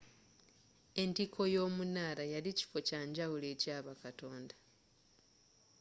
entiko y'omunaala yali kifo kyanjawulo eky'abakatonda